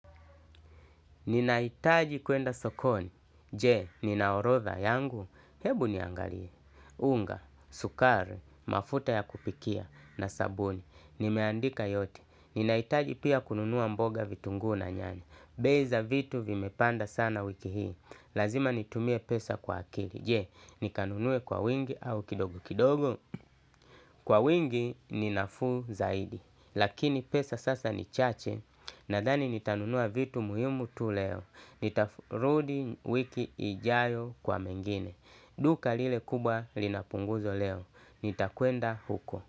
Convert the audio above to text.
Ninahitaji kwenda sokoni, je, nina orodha yangu? Hebu niangalie. Unga, sukari, mafuta ya kupikia na sabuni, nimeandika yote. Ninahitaji pia kununua mboga, vitunguu na nyanya. Bei za vitu vimepanda sana wiki hii, lazima nitumie pesa kwa akili. Je, nikanunue kwa wingi au kidogo kidogo? Kwa wingi ni nafuu zaidi, lakini pesa sasa ni chache. Nadhani nitanunua vitu muhimu tu leo. Nitarudi wiki ijayo kwa mengine. Duka lile kubwa lina punguzo leo. Nitakuenda huko.